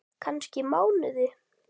Kannski mánuði!